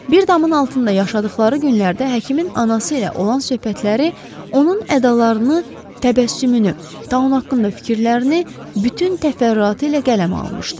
Bir damın altında yaşadıqları günlərdə həkimin anası ilə olan söhbətləri onun ədalarını, təbəssümünü, taun haqqında fikirlərini bütün təfərrüatı ilə qələmə almışdı.